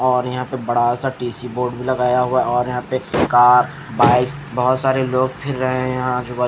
और यहाँ पे बड़ा सा टीसी बोर्ड भी लगाया हुआ है और यहाँ पे कार बाइक बहुत सारे लोग फिर रहे हैं यहाँ आजू बाजू--